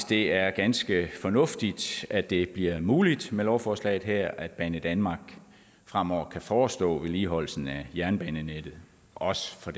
det er ganske fornuftigt at det bliver muligt med lovforslaget her at banedanmark fremover kan forestå vedligeholdelsen af jernbanenettet også for